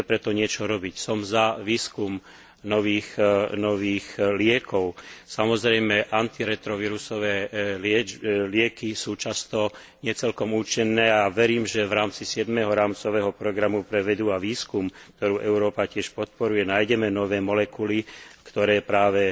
Musíme preto niečo robiť, som za výskum nových liekov, samozrejme antiretrovírusové lieky sú často nie celkom účinné a verím, že v rámci siedmeho rámcového programu pre vedu a výskum, ktorý Európa veda tiež podporuje, nájdeme nové molekuly, ktoré práve